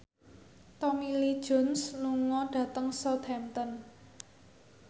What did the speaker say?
Tommy Lee Jones lunga dhateng Southampton